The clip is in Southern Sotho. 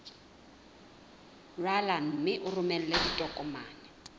rala mme o romele ditokomene